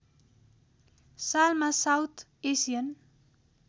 सालमा south Asian